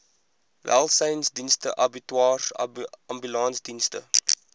welsynsdienste abattoirs ambulansdienste